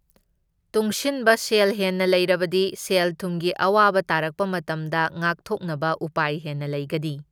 ꯇꯨꯡꯁꯤꯟꯕ ꯁꯦꯜ ꯍꯦꯟꯅ ꯂꯩꯔꯕꯗꯤ ꯁꯦꯜ ꯊꯨꯝꯒꯤ ꯑꯋꯥꯕ ꯇꯥꯔꯛꯄ ꯃꯇꯝꯗ ꯉꯥꯛꯊꯣꯛꯅꯕ ꯎꯄꯥꯏ ꯍꯦꯟꯅ ꯂꯩꯒꯅꯤ꯫